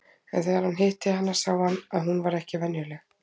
En þegar hann hitti hana sá hann að hún var ekki venjuleg.